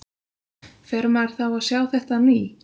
Fær maður þá að sjá þetta á ný?